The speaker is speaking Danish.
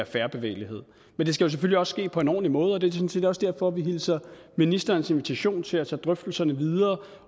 fair bevægelighed men det skal jo selvfølgelig ske på en ordentlig måde og det er sådan set også derfor vi hilser ministerens invitation til at tage drøftelserne videre